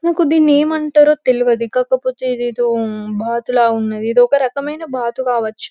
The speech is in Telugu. నాకు దిన్ని ఏమంటారో తెల్వదు కాకపోతే ఇది ఏదో బాతులా ఉన్నది ఇది ఒక రకమైన బాతు కావచ్చు.